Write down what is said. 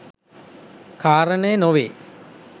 කාරණය නොවේ.